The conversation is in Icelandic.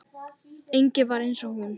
Engin var eins og hún.